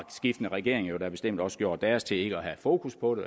skiftende regeringer jo da bestemt også gjort deres til ikke at have fokus på det